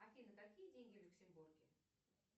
афина какие деньги в люксембурге